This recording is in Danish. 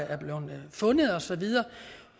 er blevet fundet og så videre